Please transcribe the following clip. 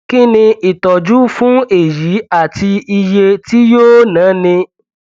kí ni ìtọjú fún èyí àti iye tí yóò náni